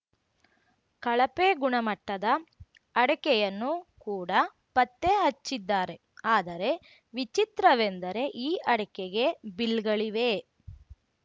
ಕಳಪೆ ಗುಣಮಟ್ಟದ ಅಡಕೆಯನ್ನು ಕೂಡ ಪತ್ತೆ ಹಚ್ಚಿದ್ದಾರೆ ಆದರೆ ವಿಚಿತ್ರವೆಂದರೆ ಈ ಅಡಕೆಗೆ ಬಿಲ್‌ಗಳಿವೆ